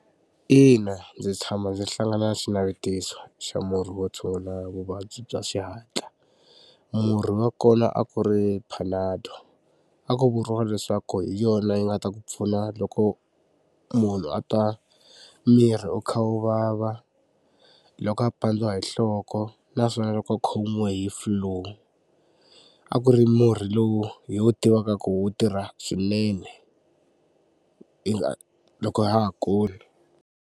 Ina ndzi tshama ndzi hlangana na xinavetiso xa murhi wo tshungula vuvabyi bya xihatla. Murhi wa kona a ku ri Panado a ku vuriwa leswaku hi yona yi nga ta ku pfuna loko munhu a twa miri wu kha wu vava, loko a pandziwa hi nhloko naswona loko a khomiwe hi flu. A ku ri murhi lowu hi wu tivaka ku wu tirha swinene loko ha ha kula.